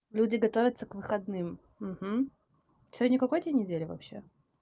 люди готовятся к выходным угу сегодня какой день недели вообще